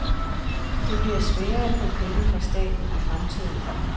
Det bliver sværere at få penge fra staten i fremtiden.